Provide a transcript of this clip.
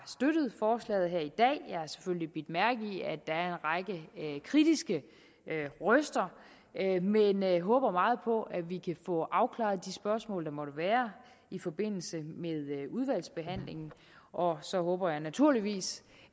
selvfølgelig bidt mærke i at der er en række kritiske røster men jeg håber meget på at vi kan få afklaret de spørgsmål der måtte være i forbindelse med udvalgsbehandlingen og så håber jeg naturligvis